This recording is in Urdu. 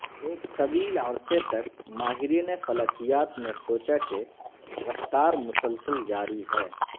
ایک طویل عرصے تک ماہرین فلکیات نے سوچا کہ رفتار مسلسل جاری ہے